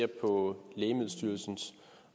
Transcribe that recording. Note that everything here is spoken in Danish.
på lægemiddelstyrelsens